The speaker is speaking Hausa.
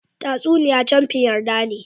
Tatasuniy camkin yarda ne.